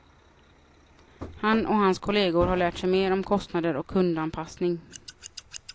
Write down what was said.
Han och hans kolleger har lärt sig mer om kostnader och kundanpassning.